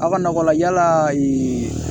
Aw ka nakɔ la yala ee